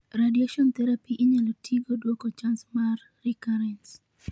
Radiation therapy inyalo tigo duoko chance mar recurrence